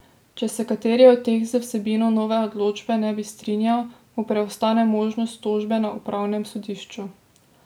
Če se kateri od teh z vsebino nove odločbe ne bi strinjal, mu preostane možnost tožbe na upravnem sodišču.